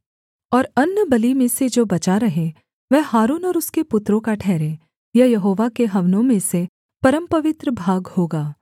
और अन्नबलि में से जो बचा रहे वह हारून और उसके पुत्रों का ठहरे यह यहोवा के हवनों में से परमपवित्र भाग होगा